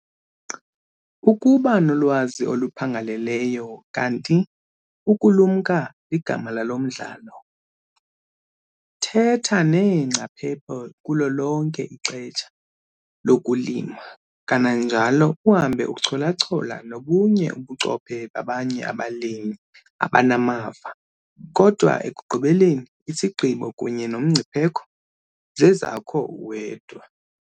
Ukuba nolwazi oluphangaleleyo kanti UKULUMKA ligama lalo mdlalo! THETHA neengcaphephe kulo lonke ixesha lokulima kananjalo uhambe uchola-chola nobunye ubuchophe babanye abalimi abanamava, kodwa ekugqibeleni ISIGQIBO kunye noMNGCIPHEKO zezakho uwedwa.